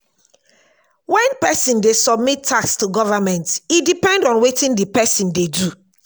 when person dey submit tax to government e depend on wetin di person dey do